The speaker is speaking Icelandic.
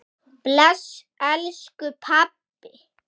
Bless elsku pabbi.